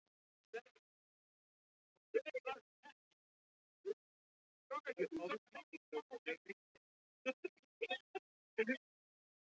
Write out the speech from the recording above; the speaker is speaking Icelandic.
En það gekk kannski gegn meiningunni.